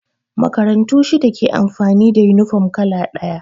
Makarantu shida ke amfani da yunifom kala ɗaya